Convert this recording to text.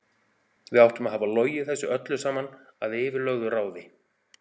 Við áttum að hafa logið þessu öllu saman að yfirlögðu ráði.